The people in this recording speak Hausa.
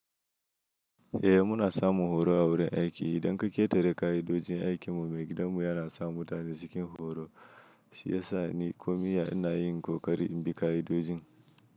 Eh muna samun horo a wurin aiki. Idan ka ƙetare ka'idojin aikin mu, maigidan mu yana sa mutane cikin horo. Shi ya sa ni komiye ina yin ƙoƙari in bi ka'idojin.